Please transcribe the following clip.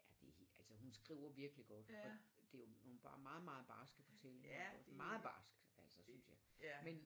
Ja det er helt altså hun skriver virkelig godt og det jo nogle meget meget barske fortællinger ik også meget barsk altså synes jeg men